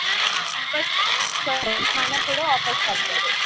ಹಾ ವಾಪಾಸ್ ಹಾ ಹಣ ಕೂಡ ವಾಪಾಸ್ ಬರ್ತದೆ.